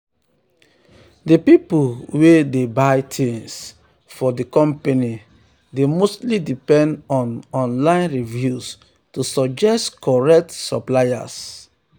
di pipu wey dey buy things um for di company dey um mostly depend on um online reviews to suggest correct suppliers.